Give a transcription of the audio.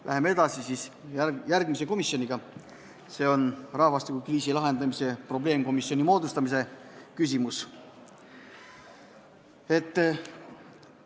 Läheme edasi järgmise punktiga, rahvastikukriisi lahendamise probleemkomisjoni moodustamise küsimusega.